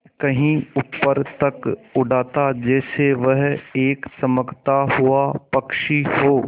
कहीं ऊपर तक उड़ाता जैसे वह एक चमकता हुआ पक्षी हो